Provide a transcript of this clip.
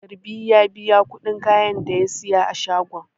Garbi ya biya kudin kayan da ya saya a shagon.